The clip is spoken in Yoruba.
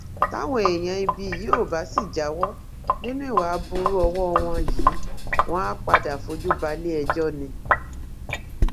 táwọn èèyàn ibí yìí ò bá sì jáwọ nínú ìwà aburú ọwọ wọn yìí wọn àá padà fojú balẹẹjọ ni